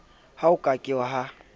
ha ho ka ke ha